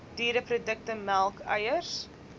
diereprodukte melk eiers